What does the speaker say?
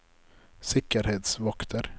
sikkerhetsvakter